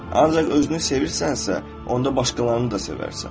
Ancaq özünü sevirsənsə, onda başqalarını da sevərsən.